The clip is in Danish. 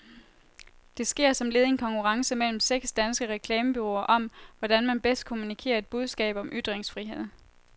Det sker som led i en konkurrence mellem seks danske reklamebureauer om, hvordan man bedst kommunikerer et budskab om ytringsfrihed.